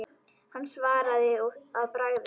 Hann svaraði að bragði.